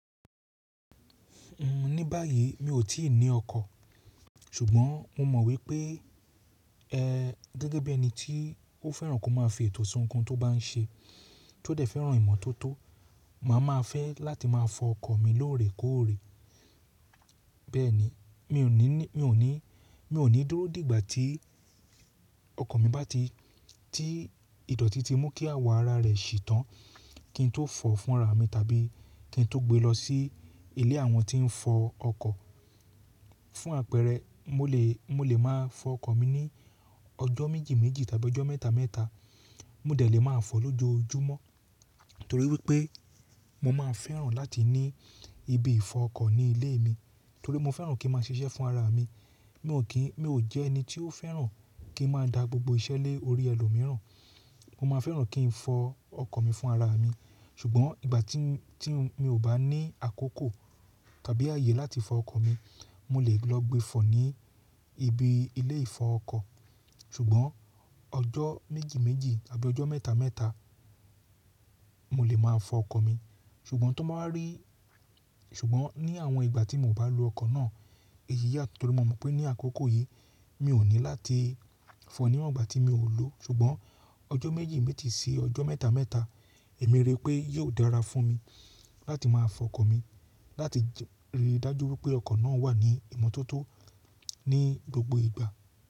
Ní báyìí mi ò tíì ní ọkọ̀, ṣùgbọ́n mo mọ̀ wípé, ẹ́ gẹ́gẹ́ bí ẹni tí ó fẹ́ràn kí ó máa fi ètò si oun koun tó bá ń ṣe, tí ó dẹ̀ fẹ́ràn ìmọ́tótó, màá ma fẹ́ láti máa fọ ọkọ̀ mi lóore kóòré. Bẹ́ẹ̀ni, mi ò ní, mi ò ní, mi ò ní dúró dìgbà tí ọkọ̀ mi bá ti, tí ìdọ̀tí ti mú kí àwọ̀ ara rẹ̀ sì tàn kí n tó fọ̀ fún ara mi tàbí kí n tó gbe lọ sí ilé àwọn tí ń fọ ọkọ̀. Fún àpẹẹrẹ, mo lè, mo lè máa fọ ọkọ̀ mi ní ọjọ́ méjì méjì tàbí ọjọ́ mẹ́ta mẹ́ta. Mo dẹ̀ lé máa fọ̀ lójoojúmọ́ torí wípé mo máa fẹ́ràn láti ní ibi ìfọ ọkọ̀ ní ilé mi torí mo fẹ́ràn kí mo máa ṣiṣẹ́ fún ara mi. Mi ò kí, mi ò jẹ́ ẹni tí ó fẹ́ràn kí n máa da gbogbo iṣẹ́ lé orí ẹlòmíràn. Mo máa fẹ́ràn kí n fọ ọkọ̀ mi fún ara mi. Ṣùgbọ́n ìgbà tí, tí mi ò bá ní àkókò tàbí àyè láti fọ ọkọ̀ mi, mo lè lọ gbe fọ̀ ní ibi ilé ìfọ ọkọ̀. Ṣùgbọ́n ọjọ́ méjì méjì tàbí ọjọ́ mẹ́ta mẹ́ta mo lè máa fọ ọkọ̀ mi. Ṣùgbọ́n tó màá rí, ṣùgbọ́n ní àwọn ìgbà tí mo ò bá lo ọkọ̀ náà, èyí yàtọ̀ torí mo mọ̀ pé ní àkókò yìí mi ò ní láti fọ̀ níwọ̀n ìgbà tí mi ò lò. Ṣùgbọ́n ọjọ́ méjì méjì sí ọjọ́ mẹ́ta mẹ́ta, èmi rí pé yóò dára fún mi láti máa fọ ọkọ̀ mi láti rí i dájú wípé ọkọ̀ náà wà ní ìmọ́tótó ní gbogbo ìgbà.